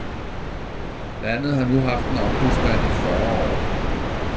Landet har nu haft en ombudsmand i fyrre år.